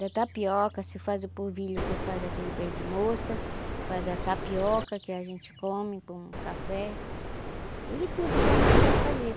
Da tapioca, se faz o polvilho que faz aquele beijo de moça, faz a tapioca que a gente come com café, e tudo que a gente quer fazer.